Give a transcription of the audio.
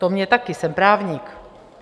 To mě také, jsem právník.